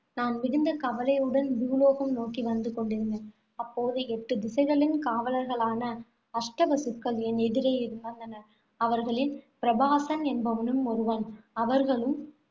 நான் மிகுந்த கவலையுடன் பூலோகம் நோக்கி வந்து கொண்டிருந்தேன். அப்போது எட்டு திசைகளின் காவலர்களான அஷ்டவசுக்கள் என் எதிரே வந்தனர். அவர்களில் பிரபாசன் என்பவனும் ஒருவன். அவர்களும்